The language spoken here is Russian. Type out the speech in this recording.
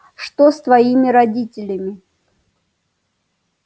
что с твоими родителями